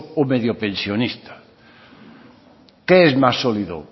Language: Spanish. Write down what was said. o mediopensionista qué es más sólido